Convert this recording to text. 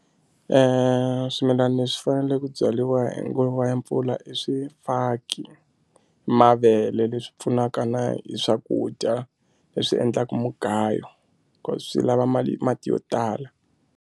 Swimilani le swi fanele ku byariwa hi nguva ya mpfula i swifaki mavele leswi pfunaka na hi swakudya leswi endlaku mugayo ku swi lava mali mati yo tala.